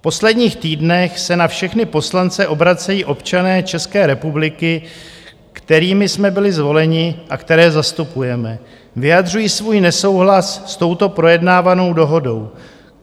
V posledních týdnech se na všechny poslance obracejí občané České republiky, kterými jsme byli zvoleni a které zastupujeme, vyjadřují svůj nesouhlas s touto projednávanou dohodou.